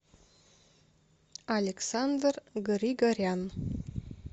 александр григорян